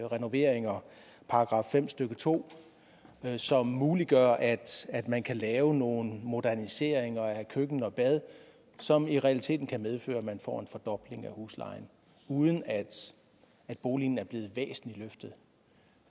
renoveringer i § fem stykke to som muliggør at at man kan lave nogle moderniseringer af køkken og bad som i realiteten kan medføre at man får en fordobling af huslejen uden at at boligen er blevet væsentligt løftet